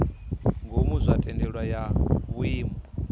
ngomu zwa thendelano ya vhuimo